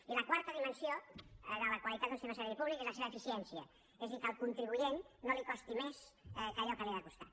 i la quarta dimensió de la qualitat d’un sistema sanitari públic és la seva eficiència és a dir que al contri buent no li costi més que allò que li ha de costar